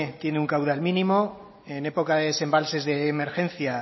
tiene un caudal mínimo en época de desembalses de emergencia